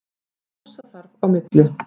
Kjósa þarf á milli.